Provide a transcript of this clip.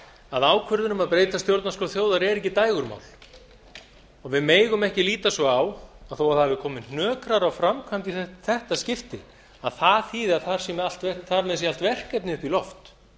að ákvörðun um að breyta stjórnarskrá þjóðar er ekki dægurmál og við megum ekki líta svo á að þó að það hafi komið hnökrar á framkvæmdina í þetta skipti að það þýði að þar með sé allt verkefnið upp í loft